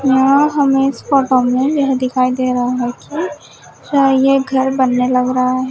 यहां हमे इस फोटो में यह दिखाई दे रहा है कि यहां ये घर बनने लग रहा है।